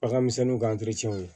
Baganmisɛnninw ka